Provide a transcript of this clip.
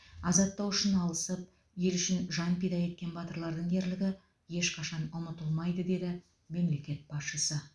азаттық үшін алысып ел үшін жан пида еткен батырлардың ерлігі ешқашан ұмытылмайды деді мемлекет басшысы